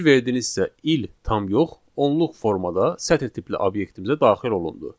Fikir verdinizsə il tam yox, onluq formada sətr tipli obyektimizə daxil olundu.